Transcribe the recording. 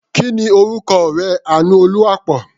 Kí ni orúkọ ọ̀rẹ́ Àánúolúwaápọ̀?